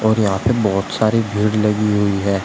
और यहां पे बहोत सारी भीड़ लगी हुई है।